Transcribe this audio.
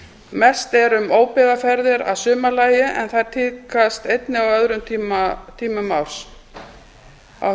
mest er um óbyggðaferðir að sumarlagi en þær tíðkast einnig á öðrum tímum árs á